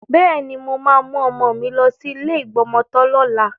Bẹ́ẹ̀ni, mo máa mú ọmọ mi lọ sí ilé ìgbọmọtọ́ lọ́la.